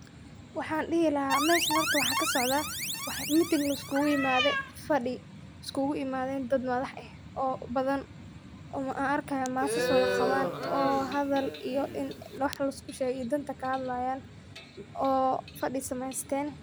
Waxan dhihi lahaa meshan horta waxa kasocdaa meeting liskugu imaade, faadhi iskugu imaadeen dad madax eh oo badan oo an arkayo maasas wada qabaan oo hadal in wax lisku sheego iyo danta kahadlayan oo fadhi sameeysten